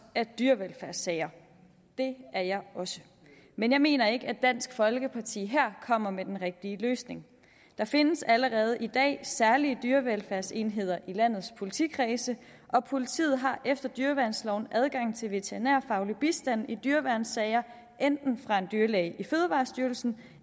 af dyrevelfærdssager det er jeg også men jeg mener ikke at dansk folkeparti her kommer med den rigtige løsning der findes allerede i dag særlige dyrevelfærdsenheder i landets politikredse og politiet har efter dyreværnsloven adgang til veterinærfaglig bistand i dyreværnssager enten fra en dyrlæge i fødevarestyrelsen